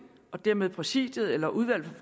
og dermed præsidiet eller udvalget